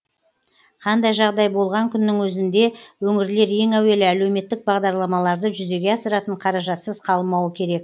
қандай жағдай болған күннің өзінде өңірлер ең әуелі әлеуметтік бағдарламаларды жүзеге асыратын қаражатсыз қалмауы керек